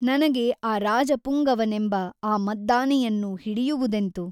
ನನಗೆ ಆ ರಾಜಪುಂಗವನೆಂಬ ಆ ಮದ್ದಾನೆಯನ್ನು ಹಿಡಿಯುವುದೆಂತು?